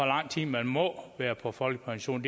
lang tid man må være på folkepension